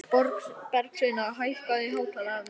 Bergsveina, hækkaðu í hátalaranum.